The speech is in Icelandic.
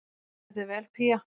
Þú stendur þig vel, Pía!